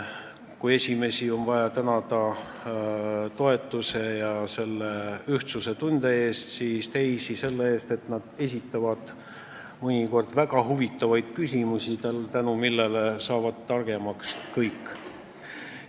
Kui esimesi on vaja tänada toetuse ja ühtsustunde eest, siis teisi selle eest, et nad esitavad mõnikord väga huvitavaid küsimusi, tänu millele saavad targemaks kõik.